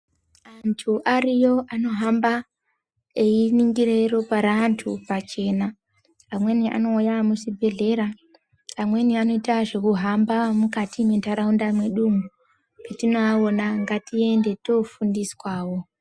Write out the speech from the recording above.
Antu ariyo anohamba einingira ropa reantu pachena. Amweni anouya muchibhedhlera, amweni anoite zvekuhamba mukati memantaraunda mwedumo, petinoaona ngatiende toofundiswawo.